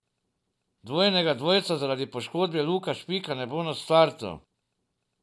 Dvojnega dvojca zaradi poškodbe Luke Špika ne bo na startu.